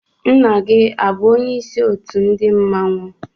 Nna gị abụ onyeisi ndị otu mmọnwụ?